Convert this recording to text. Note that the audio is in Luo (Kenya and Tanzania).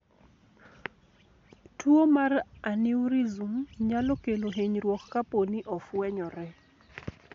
Tuwo mar aneurysm nyalo kelo hinyruok kapo ni ofwenyore.